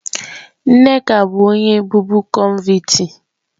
Nneka bụ onye bụbu kọnvịtị